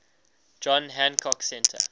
john hancock center